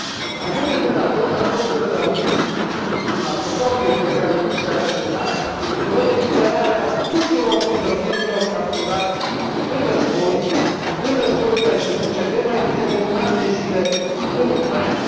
Mai mult decât atât, acordurile de la Minsk din luna februarie, pe care Rusia le a semnat, prevăd eliberarea tuturor prizonierilor capturați în războiul care se duce de mai bine de un an de zile în Ucraina.